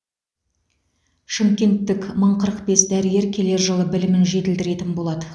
шымкенттік мың қырық бес дәрігер келер жылы білімін жетілдіретін болады